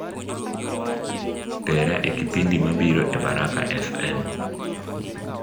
tera e kipindi mabiro e baraka f.m